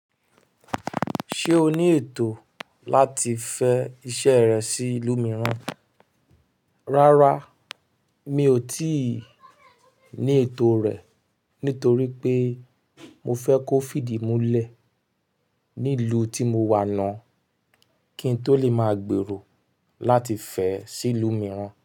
Ṣé o ní ètò láti fẹ iṣẹ́ rẹ sí ìlú mìíràn? Rárá, mi ò tíì ní ètò rẹ̀ nítorí pé mo fẹ́ kó fídìmúlẹ̀ ní ìlú tí mo wà náà kí n tó lè máa gbèrò láti fẹ́ sí ìlú mìíràn.